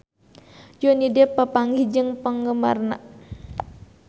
Johnny Depp papanggih jeung penggemarna